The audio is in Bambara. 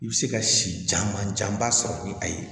I bɛ se ka si caman janba sɔrɔ ni a ye